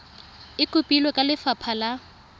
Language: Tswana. e kopilwe ke lefapha la